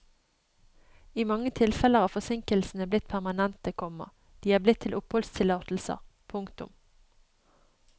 I mange tilfeller har forsinkelsene blitt permanente, komma de er blitt til oppholdstillatelser. punktum